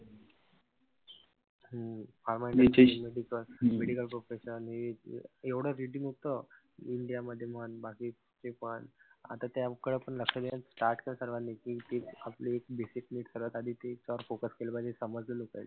हम्म pharma medical profession हे ते एवढं rating होत. इंडिया मध्ये म्हण बाकीचे पण. आता त्याकड पण लक्ष द्या कि आपली discipline सर्वात आधी त्याच्यावर focus केलं पाहिजे